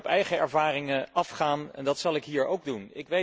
Soms kun je op eigen ervaringen afgaan en dat zal ik hier ook doen.